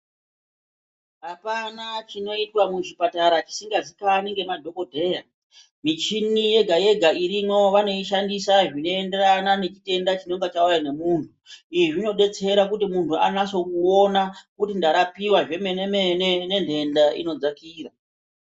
Apana chinoitwa muzvipatara chisingaziikani ngemadhokodheya. Michini yega-yega irimwo vanoishandisa zvinoenderana nechitenda chinenge chauya nemunhu. Izvi zvinodetsera kuti munhu anaso kuona, kuti ndarapiwa zvemene-mene, nenhenda inodzakira.